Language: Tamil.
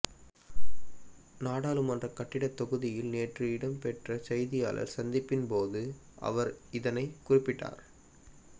நாடாளுமன்ற கட்டிடத்தொகுதியில் நேற்று இடம்பெற்ற செய்தியாளர் சந்திப்பின்போது அவர் இதனை குறிப்பிட்டார்